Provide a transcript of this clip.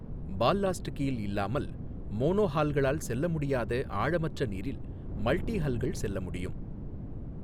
Ballast keel இல்லாமல், மோனோஹால்களால் செல்ல முடியாத ஆழமற்ற நீரில் மல்டிஹல்கள் செல்ல முடியும்.